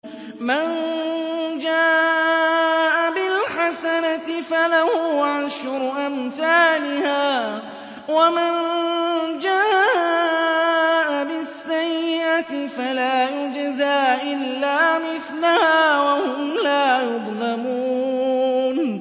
مَن جَاءَ بِالْحَسَنَةِ فَلَهُ عَشْرُ أَمْثَالِهَا ۖ وَمَن جَاءَ بِالسَّيِّئَةِ فَلَا يُجْزَىٰ إِلَّا مِثْلَهَا وَهُمْ لَا يُظْلَمُونَ